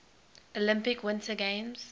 olympic winter games